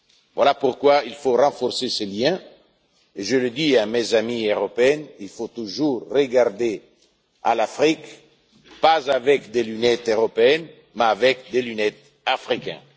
Voilà pourquoi il faut renforcer ces liens et, je le dis à mes amis européens, il faut toujours regarder l'Afrique non pas avec des lunettes européennes, mais avec des lunettes africaines.